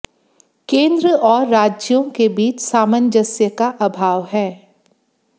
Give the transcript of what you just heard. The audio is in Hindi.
केंद्र और राज्यों के बीच सामंजस्य का अभाव है